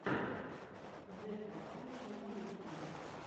зэкрасавишна на ютюбе